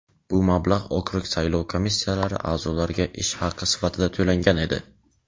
Bu mablag‘ okrug saylov komissiyalari a’zolariga ish haqi sifatida to‘langan edi.